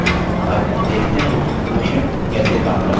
अब देखते हैं कि quotient कैसे काम करता है